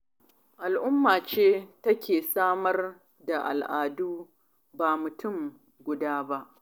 Al'umma ce take samar da al'adu, ba mutum guda ba.